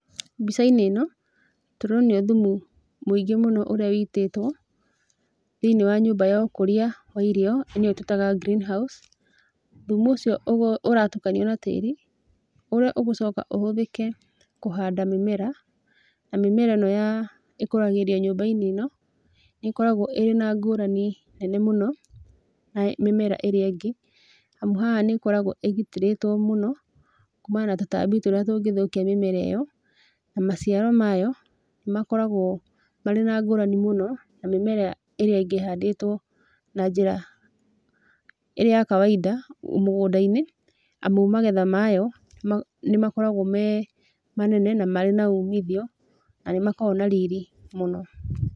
Mbicainĩ ĩno tũronio thumu mũingĩ mũno ũrĩa witĩtwo thĩinĩ wa nyũmba ya ũkũrĩa wa irio nĩyo tũĩtaga green house, thumu ũcio ũratukanio na tĩri ũrĩa ũgũcoka ũhũthĩke kũhanda mĩmera, na mĩmera ĩno ya ĩkũragĩrĩo nyũmbainĩ ĩno, nĩkoragwo ĩrĩ na ngũrani nene mũno na mĩmera ĩrĩa ĩngĩ, hamu haha nĩkoragwa ĩgitĩrĩtwo mũno kumana na tũtambi tũrĩa tũngĩthukia mĩmera ĩyo na maciaro mayo nĩ makoragwo marĩ na ngũrani mũno na mĩmea ĩyo ĩngĩ ĩhandĩtwo na njĩra ĩno ya kawaida mũgundainĩ amu magetha mayo nĩmakoragwo me manene na marĩ na umithio na nĩmakoragwo na riri mũno.